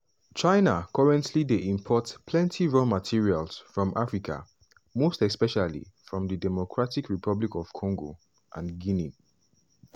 china currently dey import plenty raw materials from africa most especially from di democratic republic of congo and guinea.